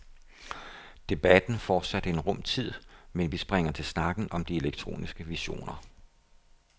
Debatten fortsatte en rum tid, men vi springer til snakken om de elektroniske visioner.